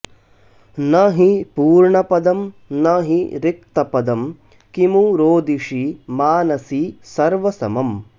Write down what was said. न हि पूर्णपदं न हि रिक्तपदं किमु रोदिषि मानसि सर्वसमम्